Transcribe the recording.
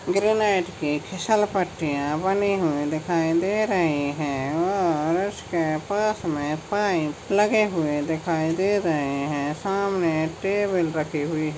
garnet की फिसलपट्टिया बनी हुई दिखाई देर ही है और उसके पास मे पाइप लगे हुए दिखाई दे रहे है सामने टेबल रखी हुये--